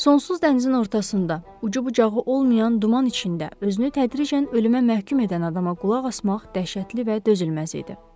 Sonsuz dənizin ortasında ucu-bucağı olmayan duman içində özünü təhdid edən, ölümə məhkum edən adama qulaq asmaq dəhşətli və dözülməz idi.